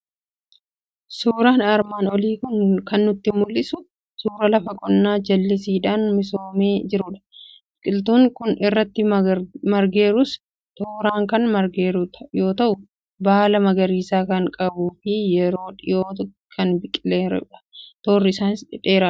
Suuraan armaan olii kan nutti mul'isu suura lafa qonnaa jallisiidhaan misoomee jirudha. Biqiltuun irratti margeerus, tooraan kan margeeru yoo ta'u, baala magariisaa kan qabuu fi yeroo dhiyoo kan biqileerudha. Toorri isaaniis dheeraadha.